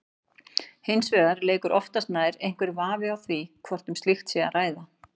Hins vegar leikur oftast nær einhver vafi á því hvort um slíkt sé að ræða.